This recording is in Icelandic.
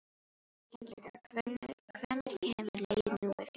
Hendrikka, hvenær kemur leið númer fjörutíu?